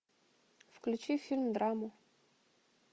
включи фильм драму